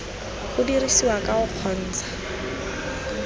go dirisiwa ka o kgontsha